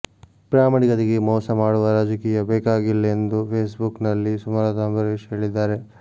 ಪ್ರಾಮಾಣಿಕತೆಗೆ ಮೋಸ ಮಾಡುವ ರಾಜಕೀಯ ಬೇಕಾಗಿಲ್ಲ ಎಂದು ಫೇಸ್ಬುಕ್ ನಲ್ಲಿ ಸುಮಲತಾ ಅಂಬರೀಶ್ ಹೇಳಿದ್ದಾರೆ